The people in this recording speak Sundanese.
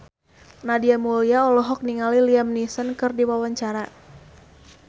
Nadia Mulya olohok ningali Liam Neeson keur diwawancara